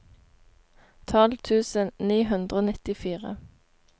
tolv tusen ni hundre og nittifire